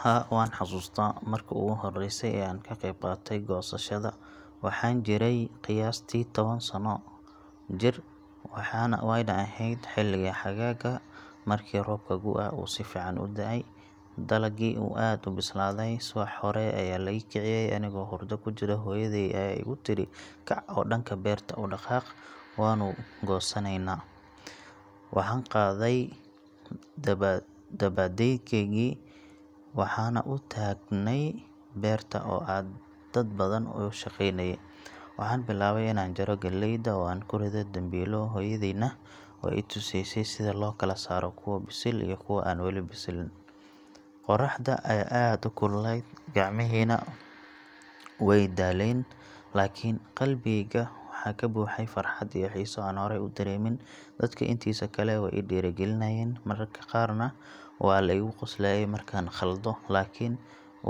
Haa waan xasuustaa markii ugu horreysay ee aan ka qayb qaatay goosashada. Waxaan jiray qiyaastii toban sano jir, waana ahayd xilliga xagaaga markii roobkii gu’ga uu si fiican u da’ay, dalagii uu aad u bislaaday. Subax hore ayaa la ii kiciyey anigoo hurdo ku jira, hooyaday ayaa igu tiri, "Kac oo dhanka beerta u dhaqaaq, waannu goosaneynaa." Waxaan qaaday dabadeedkiyagii, waxaanna u tagnay beerta oo ay dad badan ka shaqeynayeen. Waxaan bilaabay inaan jaro galleyda oo aan ku ridayo dambiilo, hooyadayna way i tusaysay sida loo kala saaro kuwa bisil iyo kuwa aan wali bislaan. Qorraxda ayaa aad u kululeyd, gacmihiina way daaleen, laakiin qalbigeyga waxaa ka buuxay farxad iyo xiiso aan horay u dareemin. Dadka intiisa kale way i dhiirrigelinayeen, mararka qaarna waa la iga qoslayay markaan khaldo, laakiin